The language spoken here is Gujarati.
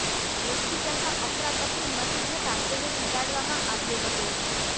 હોસ્પિટલમાં અફરાતફરી મચી જતાં તેને જગાડવામાં આવ્યો હતો